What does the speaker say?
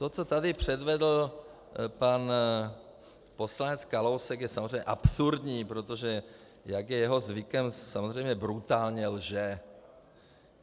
To, co tady předvedl pan poslanec Kalousek, je samozřejmě absurdní, protože jak je jeho zvykem, samozřejmě brutálně lže.